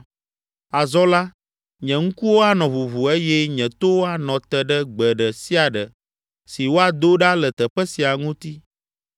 Azɔ la, nye ŋkuwo anɔ ʋuʋu eye nye towo anɔ te ɖe gbe ɖe sia ɖe si woado ɖa le teƒe sia ŋuti.